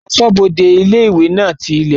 Asọ́bodè ilé-ìwé náà ti ilẹ̀kùn